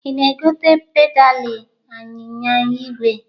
Ị na-egote pedalị anyịnya igwe?